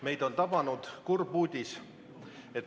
Meid on tabanud kurb uudis.